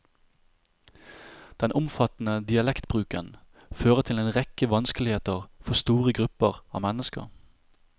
Den omfattende dialektbruken fører til en rekke vanskeligheter for store grupper av mennesker.